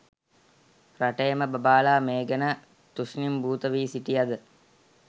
රටේම බබාලා මේ ගැන තුෂ්ණිම්භූත වී සිටියද